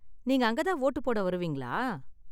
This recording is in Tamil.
நீங்க அங்க தான் வோட்டு போட வருவீங்களா?